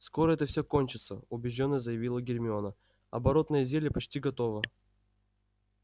скоро это все кончится убеждённо заявила гермиона оборотное зелье почти готово